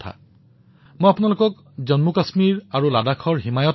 মই এনে এক পদক্ষেপৰ বিষয়ে আলোচনা কৰিবলৈ বিচাৰিম যিয়ে মোৰ দৃষ্টি আকৰ্ষিত কৰিবলৈ সক্ষম হৈছিল